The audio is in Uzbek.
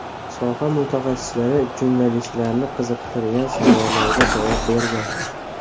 Soha mutaxassislari jurnalistlarni qiziqtirgan savollarga javob bergan.